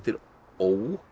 ó